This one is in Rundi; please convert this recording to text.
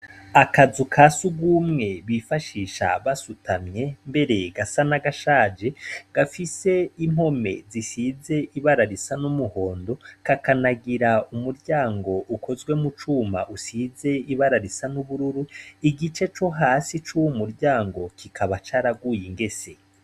Akazu kasugumwe bifashisha basutamye mbere gasa nagashaje gafise impome zisize ibara risa n'umuhondo kakanagira umuryango ukozwe mu cuma usize ibara risa n'ubururu igicu co hasi cuwo muruango kikaba caraguye ingese.